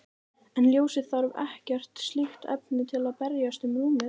En ljósið þarf ekkert slíkt efni til að berast um rúmið.